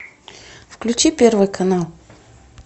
включи первый канал